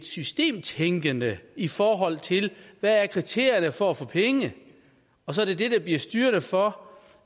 systemtænkende i forhold til hvad kriterierne er for at få penge og så er det det bliver styrende for